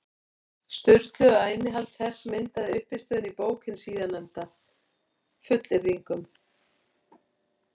Sturlu, að innihald þess myndaði uppistöðuna í bók hins síðarnefnda, fullyrðingum.